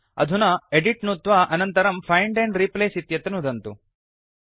अधुना एदित् नुत्वा अनन्तरम् फाइण्ड एण्ड रिप्लेस इत्यत्र नुदन्तु